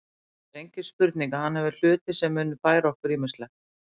Það er engin spurning að hann hefur hluti sem munu færa okkur ýmislegt.